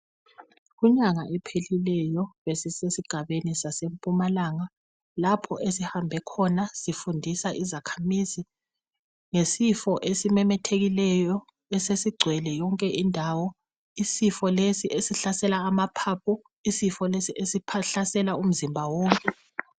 Kunyanga ephelileyo besisegabeni saseMpumalanga lapho esihambe sifundisa izakhamizi ngesifo esesimemethekileyo esesigcwele yonke indawo. Isifo lesi esihlasela amaphaphu, isifo lesi esiphahlasela umzimba wonke.